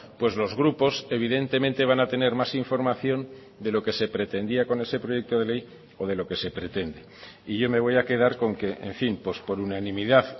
pues los grupos evidentemente van a tener más información de lo que se pretendía con ese proyecto de ley o de lo que se pretende y yo me voy a quedar con que en fin pues por unanimidad